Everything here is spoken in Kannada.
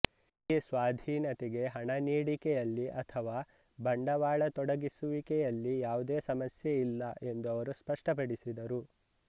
ಈ ಸ್ವಾಧೀನತೆಗೆ ಹಣ ನೀಡಿಕೆಯಲ್ಲಿ ಅಥವಾ ಬಂಡವಾಳ ತೊಡಗಿಸುವಿಕೆಯಲ್ಲಿ ಯಾವುದೇ ಸಮಸ್ಯೆ ಇಲ್ಲ ಎಂದು ಅವರು ಸ್ಪಷ್ಟಪಡಿಸಿದರು